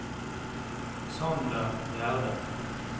Sander Gjerde